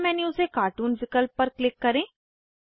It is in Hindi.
सब मेन्यू से कार्टून विकल्प पर क्लिक करें